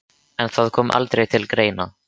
En það kom aldrei til greina.